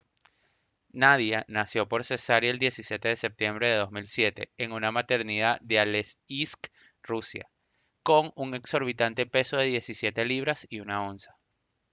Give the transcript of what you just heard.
nadia nació por cesárea el 17 de septiembre de 2007 en una maternidad de aleisk rusia con un exorbitante peso de 17 libras y 1 onza